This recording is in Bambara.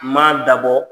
Ma dabɔ